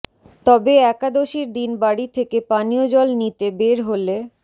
তবে একাদশীর দিন বাড়ি থেকে পানীয় জল নিতে বের হলে